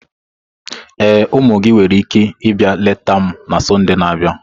Ee, ụmụ gị nwere ike ịbịa leta m na Sọnde na-abịa.